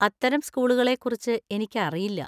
അത്തരം സ്കൂളുകളെക്കുറിച്ച് എനിക്കറിയില്ല.